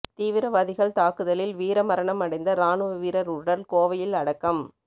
தீவிரவாதிகள் தாக்குதலில் வீரமரணம் அடைந்த ராணுவ வீரர் உடல் கோவையில் அடக்கம்